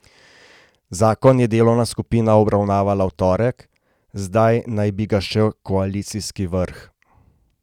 Zakon je delovna skupina obravnavala v torek, zdaj naj bi ga še koalicijski vrh.